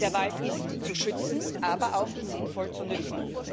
Der Wald ist zu schützen, aber auch sinnvoll zu nützen.